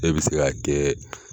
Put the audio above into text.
E bi se k'a kɛ.